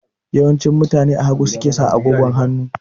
Yawanci mutane a hagu suke saka agogon hanu